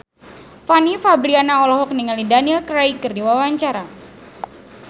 Fanny Fabriana olohok ningali Daniel Craig keur diwawancara